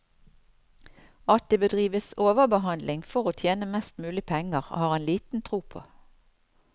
At det bedrives overbehandling for å tjene mest mulig penger, har han liten tro på.